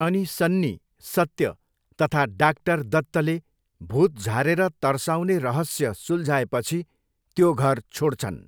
अनि सन्नी, सत्य तथा डाक्टर दत्तले भुत झारेर तर्साउने रहस्य सुल्झाएपछि त्यो घर छोड्छन्।